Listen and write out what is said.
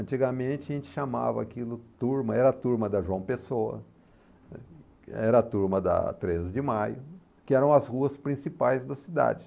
Antigamente a gente chamava aquilo turma, era a turma da João Pessoa, era a turma da treze de Maio, que eram as ruas principais da cidade.